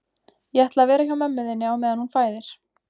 Ég ætla að vera hjá mömmu þinni á meðan hún fæðir